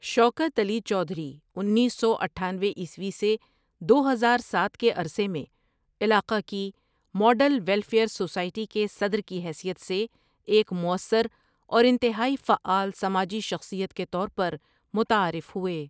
شوکت علی چودھری انیس سو اٹھانوے عیسوی سے دو ہزار ساتھ کے عرصہ میں علاقہ کی ماڈل ویلفئیر سوسائٹی کے صدر کی حثیت سے ایک موثر اور انتہائی فعال سماجی شخصیت کے طور پر متعارف ہوئے ۔